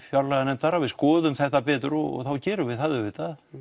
fjárlaganefndar að við skoðum þetta betur og þá gerum við það auðvitað